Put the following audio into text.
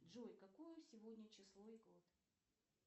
джой какое сегодня число и год